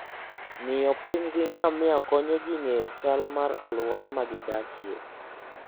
Ng'iyo piny gi ngamia konyo ji ng'eyo chal mar alwora ma gidakie.